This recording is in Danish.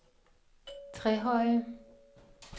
Trehøje